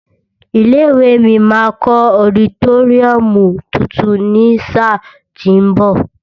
Ilé ìwée mi máa kọ́ ọditóríọ̀mù tuntun ní sáà tí ń bọ̀.